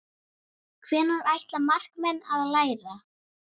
Hvenær ætla markmenn að læra?